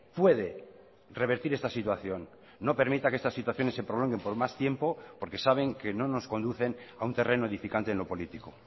puede revertir esta situación no permita que estas situaciones se prolonguen por más tiempo porque saben que no nos conducen a un terreno edificante en lo político